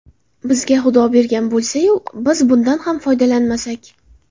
Bizga Xudo bergan bo‘lsa-yu, biz bundan ham foydalanmasak.